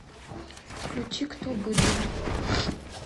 включи кто быдло